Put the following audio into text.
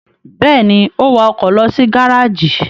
Bẹ́ẹ̀ ni, ó wa ọkọ̀ lọ sí gárájì.